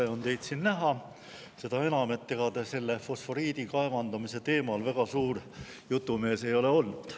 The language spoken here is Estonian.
Tore on teid siin näha, seda enam, et ega te fosforiidi kaevandamise teemal väga suur jutumees ei ole olnud.